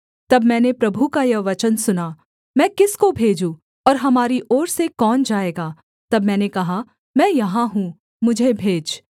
तब मैंने प्रभु का यह वचन सुना मैं किसको भेजूँ और हमारी ओर से कौन जाएगा तब मैंने कहा मैं यहाँ हूँ मुझे भेज